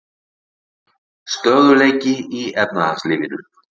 Stöðugleiki í efnahagslífinu